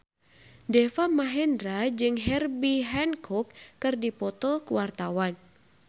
Deva Mahendra jeung Herbie Hancock keur dipoto ku wartawan